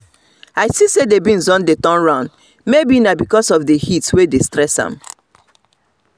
i see say the beans don dey turn round maybe na because of heat wey dey stress am